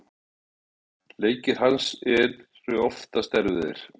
Leikir hans eru oftast erfiðir.